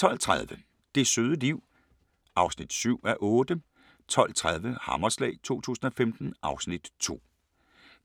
12:30: Det søde liv (7:8) 12:50: Hammerslag 2015 (Afs. 2)